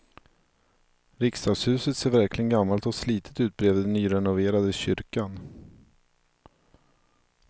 Riksdagshuset ser verkligen gammalt och slitet ut bredvid den nyrenoverade kyrkan.